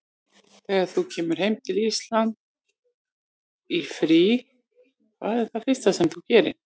Þegar þú kemur heim til Íslands í frí, hvað er það fyrsta sem þú gerir?